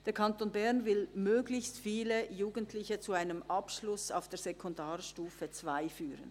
Der Kanton Bern will möglichst viele Jugendliche zu einem Abschluss auf der Sekundarstufe II führen.